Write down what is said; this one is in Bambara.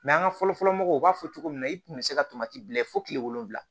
an ka fɔlɔ fɔlɔ mɔgɔw b'a fɔ cogo min na i tun bɛ se ka bila fo kile wolonfila